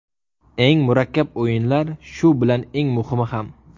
Eng murakkab o‘yinlar, shu bilan eng muhimi ham.